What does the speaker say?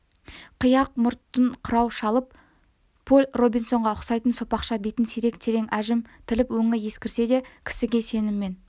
қияқ мұртын қырау шалып поль робинсонға ұқсайтын сопақша бетін сирек терең әжім тіліп өңі ескірсе де кісіге сеніммен